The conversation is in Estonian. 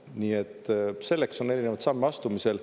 Nii et selleks on erinevaid samme astumisel.